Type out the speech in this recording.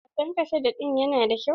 Wasan kasada din yana da kyau.